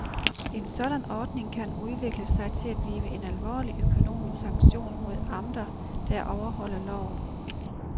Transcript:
En sådan ordning kan udvikle sig til at blive en alvorlig, økonomisk sanktion mod amter, der ikke overholder loven.